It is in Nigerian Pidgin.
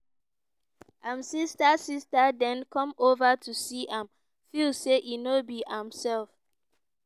im sister sister den come over to see am feel say e no be imself